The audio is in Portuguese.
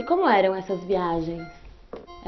E como eram essas viagens?